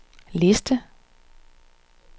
liste